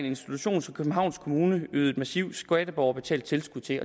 institution som københavns kommune yder et massivt skatteborgerbetalt tilskud til